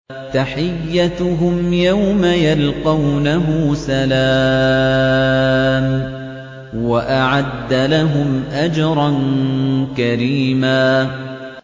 تَحِيَّتُهُمْ يَوْمَ يَلْقَوْنَهُ سَلَامٌ ۚ وَأَعَدَّ لَهُمْ أَجْرًا كَرِيمًا